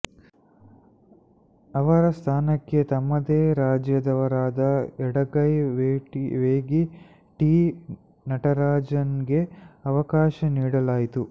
ಇವರ ಸ್ಥಾನಕ್ಕೆ ತಮ್ಮದೇ ರಾಜ್ಯದವರಾದ ಎಡಗೈ ವೇಗಿ ಟಿ ನಟರಾಜನ್ಗೆ ಅವಕಾಶ ನೀಡಲಾಯಿತು